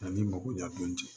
A ni makoɲa dɔn ten